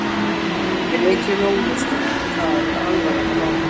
Breki Logason: Og það er alvarlegt mál?